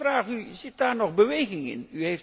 Ik vraag u, zit daar nog beweging in?